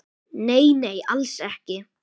Nei, nei, alls ekki.